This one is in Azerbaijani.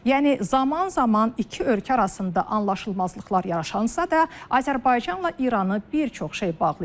Yəni zaman-zaman iki ölkə arasında anlaşılmazlıqlar yaranansa da, Azərbaycanla İranı bir çox şey bağlayır.